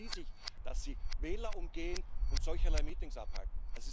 Für wen halten Sie sich, dass Sie Wähler umgehen und solcherlei Meetings abhalten?